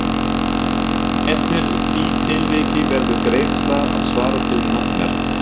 Einnig í því tilviki verður greiðsla að svara til nafnverðs.